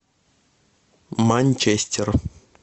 манчестер